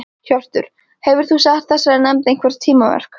Hjörtur: Hefur þú sett þessari nefnd einhver tímamörk?